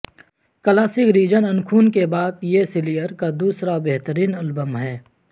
classic reign in خون کے بعد یہ سلیر کا دوسرا بہترین البم ہے